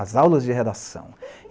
As aulas de redação.